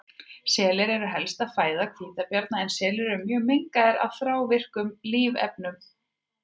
Selir eru helsta fæða hvítabjarna en selir eru mjög mengaðir af þrávirkum lífrænum efnum.